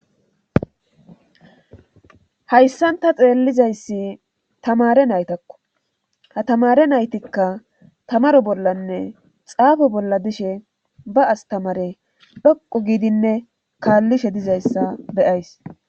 hayssanta xeellizayssi tamare naytakko ha tamare naytikka tamaro bollanne xaafo bolla dishe ba astamare dhaqo giidinne kaallishe dizayssa beyays